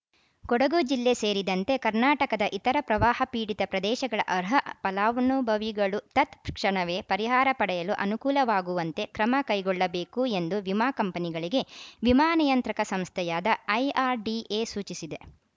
ಕೊಡಗು ಜಿಲ್ಲೆ ಸೇರಿದಂತೆ ಕರ್ನಾಟಕದ ಇತರ ಪ್ರವಾಹ ಪೀಡಿತ ಪ್ರದೇಶಗಳ ಅರ್ಹ ಫಲಾನುಭವಿಗಳು ತತ್‌ಕ್ಷಣವೇ ಪರಿಹಾರ ಪಡೆಯಲು ಅನುಕೂಲವಾಗುವಂತೆ ಕ್ರಮ ಕೈಗೊಳ್ಳಬೇಕು ಎಂದು ವಿಮಾ ಕಂಪನಿಗಳಿಗೆ ವಿಮಾ ನಿಯಂತ್ರಕ ಸಂಸ್ಥೆಯಾದ ಐಆರ್‌ಡಿಎ ಸೂಚಿಸಿದೆ